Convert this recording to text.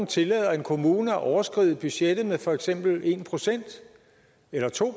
tillader en kommune at overskride budgettet med for eksempel en procent eller to